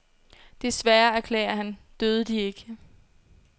Desværre, erklærer han, døde de ikke.